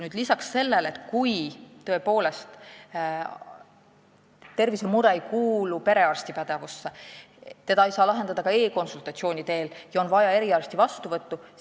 Osa tervisemuresid ei kuulu perearsti pädevusse, neid ei saa lahendada ka e-konsultatsiooni teel ja on vaja eriarsti vastuvõttu.